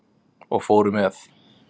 Og fóru með.